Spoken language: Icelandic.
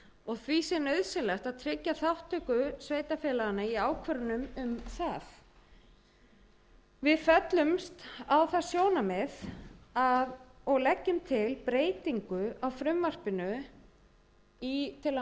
og því sé nauðsynlegt að tryggja þátttöku sveitarfélaganna í ákvörðun um það við föllumst á það sjónarmið og leggjum til breytingu á frumvarpinu til að mæta þessum